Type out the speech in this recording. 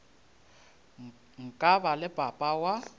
nka ba le papa wa